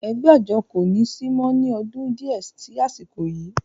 ẹgbẹ́ àjọ kò ní sí mọ́ ní ọdún díẹ̀ sí àsìkò yìí